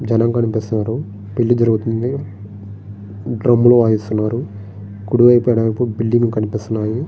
జనం కనిపిస్తూ ఉన్నారు పెళ్లి జరుగుతుంది డ్రమ్ములు వాయిస్తున్నారు కుడివైపు ఎడమవైపు బిల్డింగులు కనిపిస్తున్నానయి.